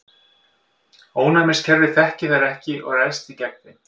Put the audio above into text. Ónæmiskerfið þekkir þær ekki og ræðst því gegn þeim.